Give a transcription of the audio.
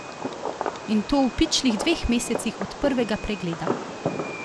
In to v pičlih dveh mesecih od prvega pregleda!